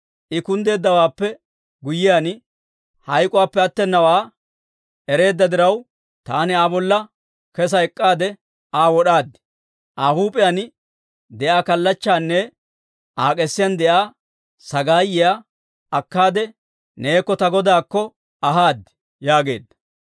I kunddeeddawaappe guyyiyaan, hayk'k'uwaappe attenawaa ereedda diraw, taani Aa bolla kesa ek'k'aade Aa wod'aad; Aa huup'iyaan de'iyaa kallachchaanne Aa k'esiyaan de'iyaa sagaayiyaa akkaade neekko ta godaakko ahaad» yaageedda.